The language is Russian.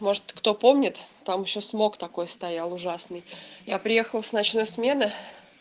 может кто помнит там ещё смог такой стоял ужасный я приехал с ночной смены